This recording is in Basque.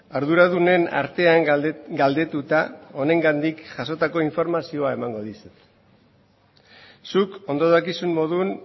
arduradunen artean galdetuta honengandik jasotako informazioa emango dizut zuk ondo dakizun moduan